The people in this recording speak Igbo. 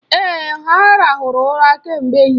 Èè, ha ràhụrụ ụra kemgbe ehihie.